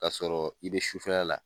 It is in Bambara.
O y'a sɔrɔ i bɛ sufɛla la.